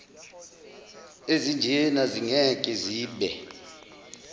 ezinjena zingeke zibe